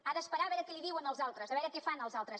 ha d’esperar a veure què li diuen els altres a veure què fan els altres